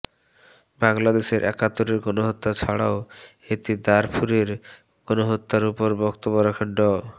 বাংলাদেশের একাত্তরের গণহত্যা ছাড়াও এতে দারফুরের গণহত্যার উপর বক্তব্য রাখেন ড